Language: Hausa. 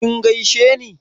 kin gaisheni?